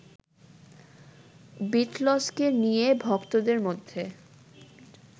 বিটলসকে নিয়ে ভক্তদের মধ্যে